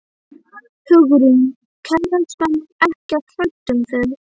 Hugrún: Kærastan er ekkert hrædd um þig?